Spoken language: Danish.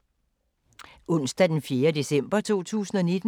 Onsdag d. 4. december 2019